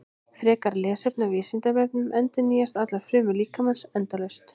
Frekara lesefni á Vísindavefnum: Endurnýjast allar frumur líkamans endalaust?